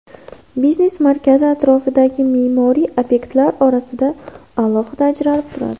Biznes markazi atrofdagi me’moriy obyektlar orasida alohida ajralib turadi.